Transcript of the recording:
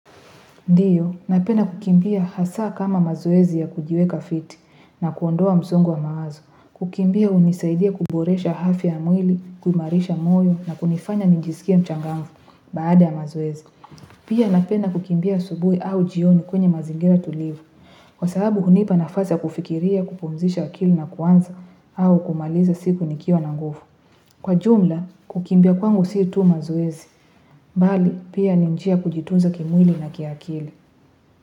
Ndiyo, napenda kukimbia hasa kama mazoezi ya kujiweka fiti na kuondoa msongo wa mawazo. Kukimbia hunisaidia kuboresha afya ya mwili, kuimarisha moyo na kunifanya nijisikie mchangamfu baada ya mazoezi. Pia napenda kukimbia asubuhi au jioni kwenye mazingira tulivu. Kwa sahabu hunipa nafasi ya kufikiria kupumzisha akili na kuanza au kumaliza siku nikiwa na nguvu. Kwa jumla, kukimbia kwangu si tu mazoezi. Bali, pia ni njia kujitunza kimwili na kiakili.